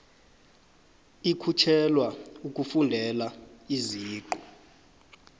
ikhutjhelwa ukufundela iziqu